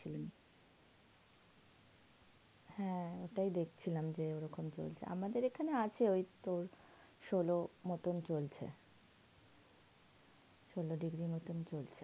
হ্যাঁ ঐটাই দেখছিলাম যে ওরকম চলছে. আমাদের এখানে আছে ঐ তোর ষোলোর মতন চলছে. ষোলো degree র মতন চলছে.